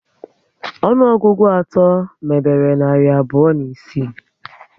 Ọnụọgụgụ atọ mebere narị abụọ na isii